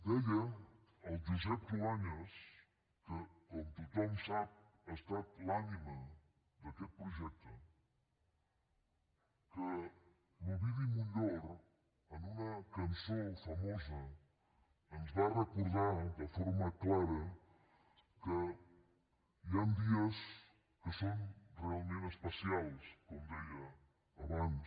deia el josep cruanyes que com tothom sap ha estat l’ànima d’aquest projecte que l’ovidi montllor en una cançó famosa ens va recordar de forma clara que hi han dies que són realment especials com deia abans